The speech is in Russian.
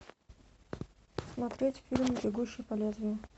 смотреть фильм бегущий по лезвию